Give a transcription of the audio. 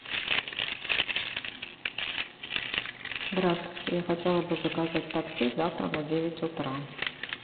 здравствуйте я хотела бы заказать такси завтра на девять утра